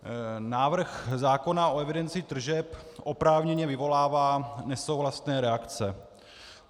Návrh zákona o evidenci tržeb oprávněně vyvolává nesouhlasné reakce.